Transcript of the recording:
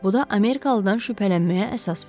Bu da Amerikalıdan şübhələnməyə əsas verir.